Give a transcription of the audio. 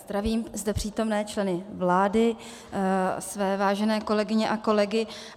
Zdravím zde přítomné členy vlády, své vážené kolegyně a kolegy.